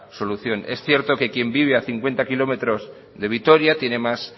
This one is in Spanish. solución es cierto que quien vive a cincuenta kilómetros de vitoria tiene más